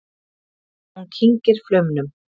Hún kyngir flaumnum.